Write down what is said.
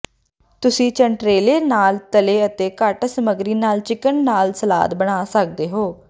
ਤੁਸੀਂ ਚੰਟੇਰੇਲਲੇ ਨਾਲ ਤਲ਼ੇ ਅਤੇ ਘੱਟ ਸਮੱਗਰੀ ਨਾਲ ਚਿਕਨ ਨਾਲ ਸਲਾਦ ਬਣਾ ਸਕਦੇ ਹੋ